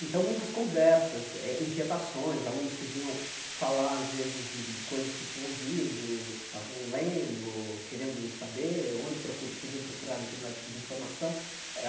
Então, muitas conversas eh, inquietações, alunos que vinham falar, às vezes, de de coisas que tinham ouvido, que estavam lendo, querendo saber onde procu podiam procurar determinado tipo de informação eh.